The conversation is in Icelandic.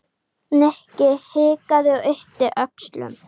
Nikki hikaði og yppti öxlum.